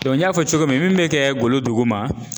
n y'a fɔ cogo min min be kɛ golo duguma